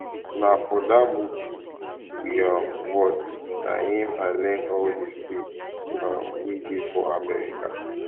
na for dat movie we um watch na im i iearn all the states um wey dey for america um